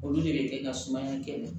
Olu de bɛ kɛ ka sumaya kɛlɛ